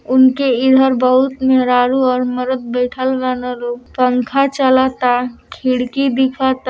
उनके इधर बहुत मेहरारू और मरद बइठल बारे लोग| पंखा चलत ता| खिड़की दिखत ता।